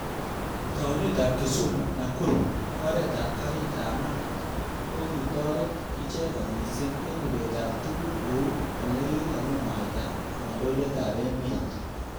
Taunet ab Kisumu -Nakuru oret ab karit ab maat kokitoret icheket missing eng ibet ab tukuk kou olekimwaita kandoindet ab emet.